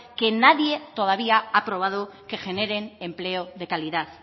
que nadie todavía ha probado que generen empleo de calidad